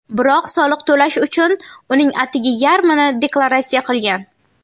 Biroq soliq to‘lash uchun uning atigi yarmini deklaratsiya qilgan.